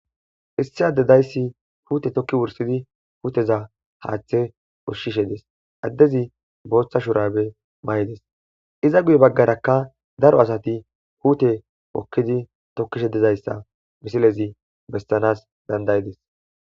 issi ade dayssi puute tokki wursidi huuteza haaththe oshshishe des addezi booththa shurabe may7ides iza guye baggarakka daro asati huute pokkidi tokkishe dizayssa bisilezi bestanas dandayides